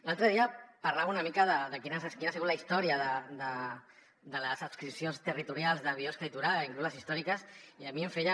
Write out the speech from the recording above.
l’altre dia parlava una mica de quina ha sigut la història de les adscripcions territorials de biosca i torà inclús les històriques i a mi em feia